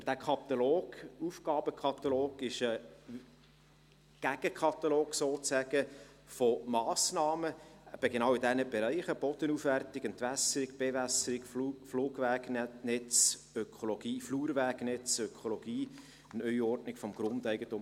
Für diesen Aufgabenkatalog gibt es sozusagen einen Gegenkatalog von Massnahmen, eben in diesen Bereichen, Bodenaufwertung, Entwässerung, Bewässerung, Flurwegnetz, Ökologie, Neuordnung des Grundeigentums.